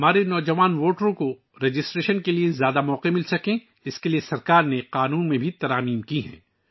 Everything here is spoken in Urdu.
حکومت نے قانون میں بھی ترامیم کی ہیں تاکہ ہمارے نوجوان ووٹروں کو رجسٹریشن کے زیادہ مواقع مل سکیں